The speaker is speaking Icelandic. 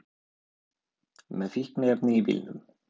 Með fíkniefni í bílnum